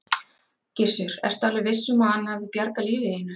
Gissur: Ertu alveg viss um að hann hafi bjargað lífi þínu?